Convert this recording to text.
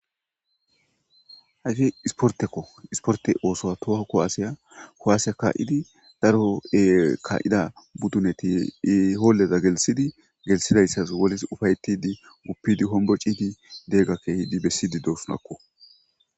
Hayssi ispporttekko ispportte othuwa toho kuwassiya kuwase ka'iddi daro ka'ida buddinetti Gooleza gelthiddi gelthidayssas ufayettidi guppidi hombbociddi derega besishe de'osona.